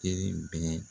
Kelen bɛɛ